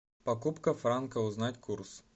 покупка франка узнать курс